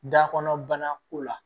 Da kɔnɔ bana ko la